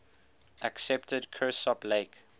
accepted kirsopp lake